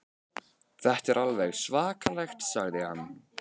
Þetta er alveg svakalegt sagði hann.